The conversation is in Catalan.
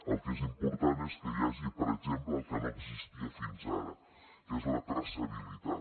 el que és important és que hi hagi per exemple el que no existia fins ara que és la traçabilitat